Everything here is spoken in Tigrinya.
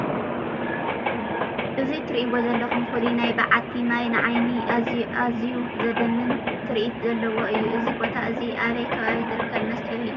እዚ ትሪእዎ ዘለኹም ፍሉይ ናይ በዓቲ ማይ ንዓይኒ ኣዝዩ ዘድምም ትርኢት ዘለዎ እዩ፡፡ እዚ ቦታ እዚ ኣበይ ከባቢ ዝርከብ መስሕብ እዩ?